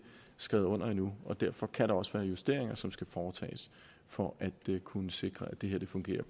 skrevet under endnu og derfor kan der også være justeringer som skal foretages for at kunne sikre at det her fungerer